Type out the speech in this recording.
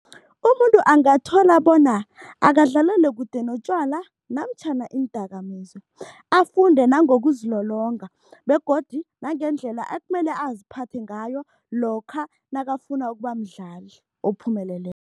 Umuntu angathola bona akadlalele kude notjwala namtjhana iindakamizwa. Afunde nangokuzilolonga begodu nangendlela ekumele aziphathe ngayo lokha nakafuna ukuba mdlali ophumeleleko.